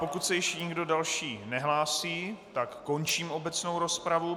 Pokud se již nikdo další nehlásí, tak končím obecnou rozpravu.